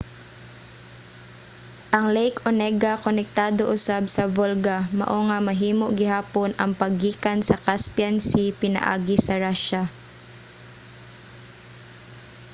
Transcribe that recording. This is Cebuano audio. ang lake onega konektado usab sa volga mao nga mahimo gihapon ang paggikan sa caspian sea pinaagi sa russia